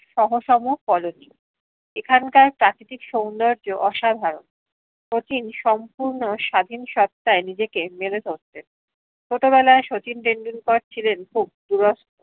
সহস্মো colony এখানকার প্রাকৃতিক সৌন্দর্য অসাধারন শচীন সম্পূর্ণ স্বাধীন সত্তায় নিজেকে মেলে ধরতেন ছোট বেলায় শচীন টেন্ডুলকার ছিলেন খুব দুরাস